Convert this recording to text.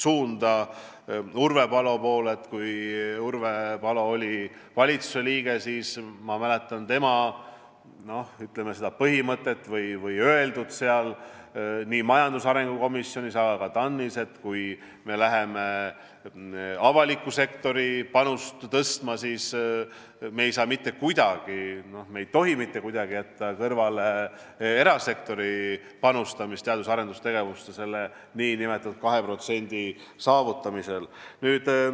Ma mäletan, et kui Urve Palo oli valitsusliige, siis tal oli põhimõte või ta ütles nii majandusarengu komisjonis kui ka TAN-is, et kui me läheme avaliku sektori panust tõstma, siis me ei tohi mitte kuidagi jätta kõrvale erasektori panustamist teadus- ja arendustegevusse selle 2% saavutamisel.